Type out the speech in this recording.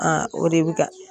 o de bi ka